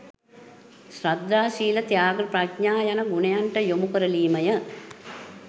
ශ්‍රද්ධා ශීල ත්‍යාග ප්‍රඥා යන ගුණයන්ට යොමුකරලීමය